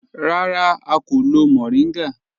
Rárá, à kò lọ́ mòríngá